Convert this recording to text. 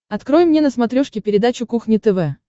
открой мне на смотрешке передачу кухня тв